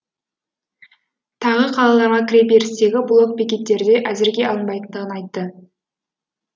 тағы қалаларға кіреберістегі блок бекеттерде әзірге алынбайтындығын айтты